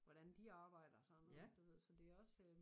Hvordan de arbejder sådan noget du ved så det også